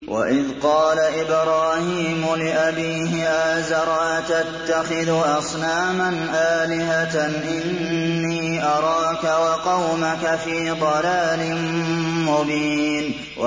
۞ وَإِذْ قَالَ إِبْرَاهِيمُ لِأَبِيهِ آزَرَ أَتَتَّخِذُ أَصْنَامًا آلِهَةً ۖ إِنِّي أَرَاكَ وَقَوْمَكَ فِي ضَلَالٍ مُّبِينٍ